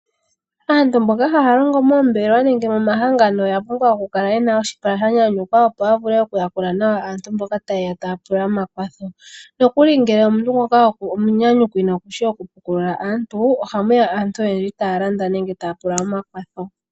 Aantu mboka haya longo moombelewa nenge mo mahangano oya pumbwa oku kala yena oshipala sha nyanyukwa, opo ya vule oku yakula nawa aantu mboka ta yeya ta ya pula omakwatho. Nokuli ngele omuntu ngoka omunyanyukwi nokushi oku pukulula aantu , oha muya aantu oyendji taya landa nenge taya pula omakwatho.